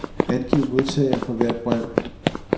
Angiv modtagere for hvert brev.